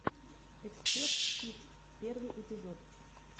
эксперт фиф первый эпизод